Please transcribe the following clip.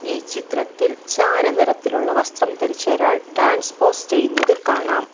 ഈ ചിത്രത്തിൽ ചാര നിറത്തിലുള്ള വസ്ത്രം ധരിച്ചൊരാൾ ഡാൻസ് പോസ് ചെയ്യുന്നത് കാണാം.